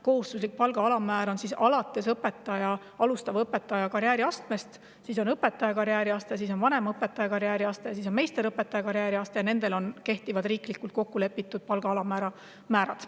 Kohustuslik palga alammäär alustava õpetaja karjääriastmest, siis on õpetaja karjääriaste, vanemõpetaja karjääriaste ja meisterõpetaja karjääriaste – nendele kehtivad riiklikult kokkulepitud palga alammäärad.